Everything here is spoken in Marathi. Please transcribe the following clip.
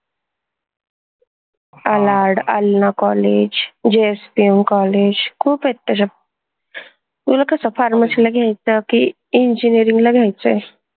AlardAllanacollegeJSPMcollege खूप आहेत तशे तुला कस Pharmacy ला घ्यायचं की, Engineering ला घ्यायचंय?